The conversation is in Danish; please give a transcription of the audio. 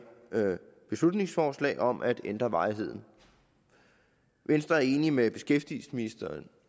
beslutningsforslag om at ændre varigheden venstre er enig med beskæftigelsesministeren